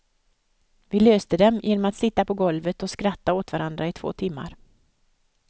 Vi löste dem genom att sitta på golvet och skratta åt varandra i två timmar.